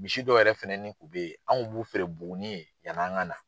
Misi dɔw yɛrɛ fɛnɛni tun bɛ ye an kun b'u feere Buguni ye yanni an ka na.